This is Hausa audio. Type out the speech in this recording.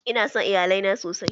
Ina son Iyalai na sosai.